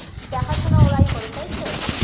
দেখাশোনা ওরাই করে তাইতো